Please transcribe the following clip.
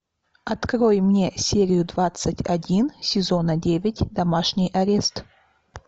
открой мне серию двадцать один сезона девять домашний арест